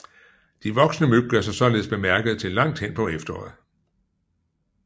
De voksne myg gør sig således bemærkede til langt hen på efteråret